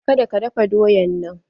Ka da ka dafa doyan nan!